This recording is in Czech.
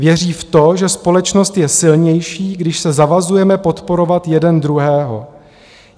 Věří v to, že společnost je silnější, když se zavazujeme podporovat jeden druhého.